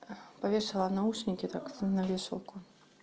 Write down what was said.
повешала наушники так сын на вешалку